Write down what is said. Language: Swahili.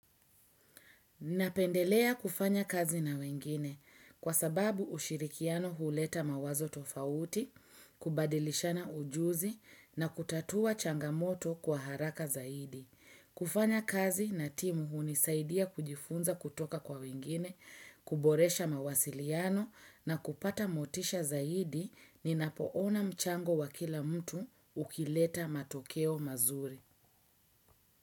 Napendelea kufanya kazi na wengine kwa sababu ushirikiano huleta mawazo tofauti, kubadilishana ujuzi na kutatua changamoto kwa haraka zaidi. Kufanya kazi na timu hunisaidia kujifunza kutoka kwa wengine, kuboresha mawasiliano na kupata motisha zaidi ninapoona mchango wa kila mtu ukileta matokeo mazuri.